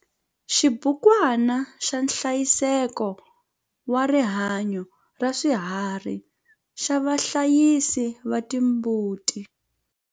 Xibukwana xa nhlayiseko wa rihanyo ra swiharhi xa vahlayisi va timbuti.